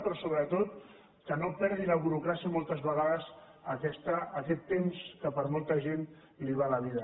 però sobretot que no perdi la burocràcia moltes vegades aquest temps que per molta gent li va la vida